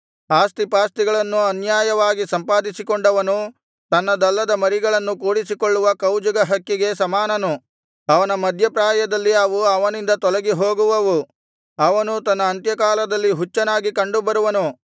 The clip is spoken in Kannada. ಆಸ್ತಿಪಾಸ್ತಿಗಳನ್ನು ಅನ್ಯಾಯವಾಗಿ ಸಂಪಾದಿಸಿಕೊಂಡವನು ತನ್ನದಲ್ಲದ ಮರಿಗಳನ್ನು ಕೂಡಿಸಿಕೊಳ್ಳುವ ಕೌಜುಗ ಹಕ್ಕಿಗೆ ಸಮಾನನು ಅವನ ಮಧ್ಯಪ್ರಾಯದಲ್ಲಿ ಅವು ಅವನಿಂದ ತೊಲಗಿಹೋಗುವವು ಅವನು ತನ್ನ ಅಂತ್ಯಕಾಲದಲ್ಲಿ ಹುಚ್ಚನಾಗಿ ಕಂಡುಬರುವನು